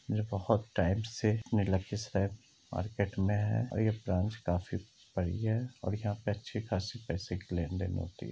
ये बहोत टाइम से मार्केट में है और ये ब्रांच काफी बड़ी है और यहाँ पे अच्छी खासी पैसे की लेन देन होती है।